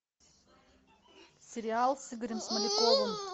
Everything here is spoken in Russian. сериал с игорем смоляковым